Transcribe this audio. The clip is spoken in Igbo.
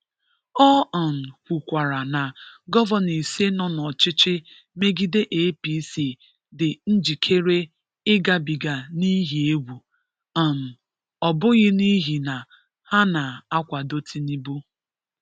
Ọ um kwụkwara na gọvanọ ise nọ n’ọchịchị megide APC dị njikere ịgabiga n’ihi egwu, um ọ bụghị n’ihi na ha na-akwado Tinubu.